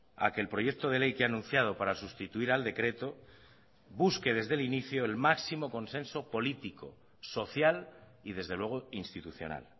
a que el proyecto de ley que ha anunciado para sustituir al decreto busque desde el inicio el máximo consenso político social y desde luego institucional